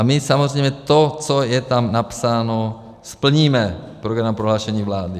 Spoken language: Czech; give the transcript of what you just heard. A my samozřejmě to, co je tam napsáno, splníme - v programovém prohlášení vlády.